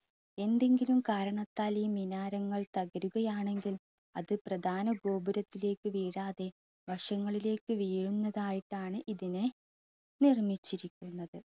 എന്തെങ്കിലും കാരണത്താൽ ഈ മിനാരങ്ങൾ തകരുകയാണെങ്കിൽ അത് പ്രധാന ഗോപുരത്തിലേക്ക് വീഴാതെ വശങ്ങളിലേക്ക് വീഴുന്നതായിട്ടാണ് ഇതിനെ നിർമിച്ചിരിക്കുന്നത്.